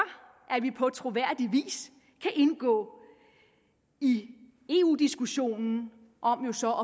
at vi på troværdig vis kan indgå i eu diskussionen om så at